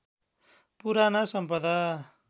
पुराना सम्पदा